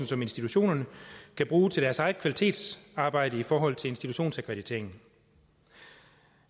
som institutionerne kan bruge til deres eget kvalitetsarbejde i forhold til institutionsakkrediteringen